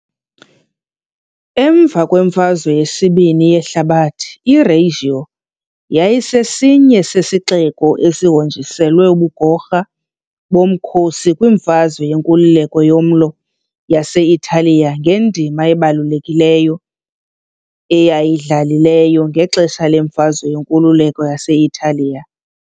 Emva kweMfazwe yesibini yeHlabathi, iReggio yayisesinye sezixeko ezihonjiselwe ubugorha bomkhosi kwimfazwe yenkululeko yoMlo wase-Italiya ngendima ebalulekileyo eyayidlalileyo ngexesha lemfazwe yenkululeko yase-Italiya .